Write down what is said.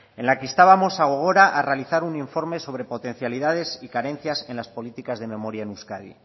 en la que instábamos a gogora a realizar un informe sobre potencialidades y carencias en las políticas de memoria en euskadi